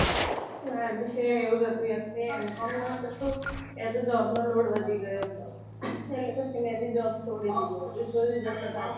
મારે બી same એવું જ હતું M com માં job નો load વધી ગયો તો એટલે પછી મેં ભી job છોડી દીધી જોયું જશે પછી.